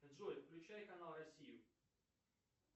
джой включай канал россию